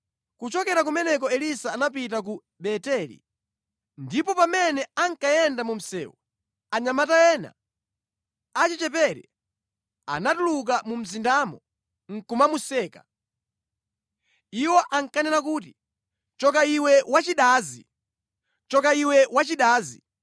Kuchokera kumeneko Elisa anapita ku Beteli. Ndipo pamene ankayenda mu msewu, anyamata ena achichepere anatuluka mu mzindamo nʼkumamuseka. Iwo ankanena kuti, “Choka iwe, wachidazi! Choka iwe wachidazi”